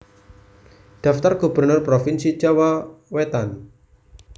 Daftar gubernur provinsi Jawa Wetan